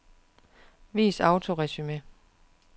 Vis autoresumé.